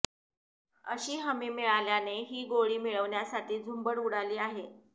अशी हमी मिळाल्याने ही गोळी मिळवण्यासाठी झुंबड उडाली आहे